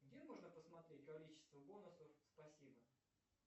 где можно посмотреть количество бонусов спасибо